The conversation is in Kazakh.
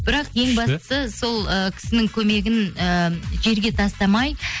бірақ ең бастысы сол ыыы кісінің көмегін ыыы жерге тастамай